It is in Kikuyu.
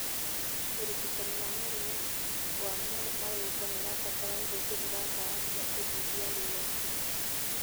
ũrigitani wa mũrimũ wa marũngo nĩũbataraga ũhũthĩri wa ndawa cia kũnyihia ruo